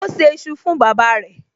O ṣé iṣu fún bàbáa rẹ̀